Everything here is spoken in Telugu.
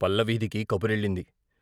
పల్ల వీధికి కబురెళ్ళింది.